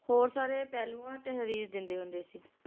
ਹੋਰ ਸਾਰੇ ਪਹਿਲੂਆਂ ਤੇ ਹਰਿਜ ਦਿੰਦੇ ਹੁੰਦੇ ਸੀ